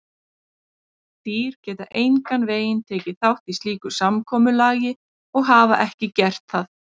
Dýr geta engan veginn tekið þátt í slíku samkomulagi og hafa ekki gert það.